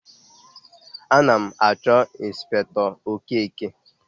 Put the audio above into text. Ana m achọ Ịnspektọ Okeke.